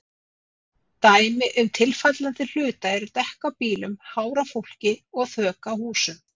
Dæmi um tilfallandi hluta eru dekk á bílum, hár á fólki og þök á húsum.